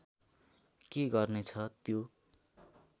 के गर्नेछ त्यो